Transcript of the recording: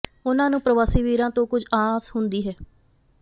ਉਹਨਾਂ ਨੂੰ ਪਰਵਾਸੀ ਵੀਰਾਂ ਤੋਂ ਕੁੱਝ ਆਸ ਹੁੰਦੀ ਹੈ